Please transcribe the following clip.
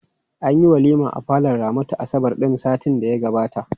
Anyi walima a falon Ramatu asabar ɗin satin da ya gabata.